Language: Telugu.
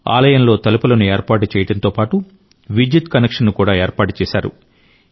ఆలయంలో తలుపులను ఏర్పాటు చేయడంతో పాటు విద్యుత్ కనెక్షన్ను కూడా ఏర్పాటు చేశారు